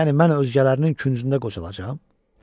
Yəni mən özgələrinin küncündə qocalacam?